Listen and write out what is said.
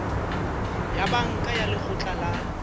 ya banka ya lekgotla la